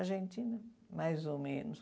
Argentina, mais ou menos.